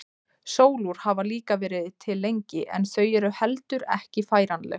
Sólúr hafa líka verið til lengi en þau eru heldur ekki færanleg.